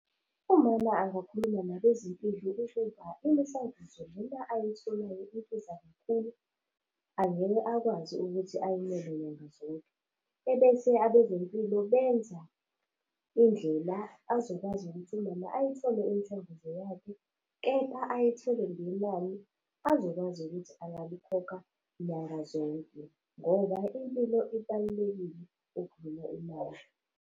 Umama angakhuluma nabezempilo ukuba imishanguzo lena ayitholayo ibiza kakhulu, angeke akwazi ukuthi ayimele nyanga zonke. Ebese abezempilo benza indlela azokwazi ukuthi umama ayithole imishanguzo yakhe, kepha ayithole ngenani azokwazi ukuthi angalikhokha nyanga zonke, ngoba impilo ibalulekile okudlula imali.